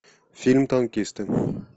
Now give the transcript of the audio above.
фильм танкисты